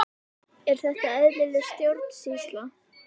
Er þetta eðlileg stjórnsýsla?